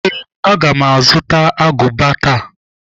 Ee, aga m azụta agụba taa.